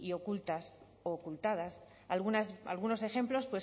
ocultas u ocultadas algunos ejemplos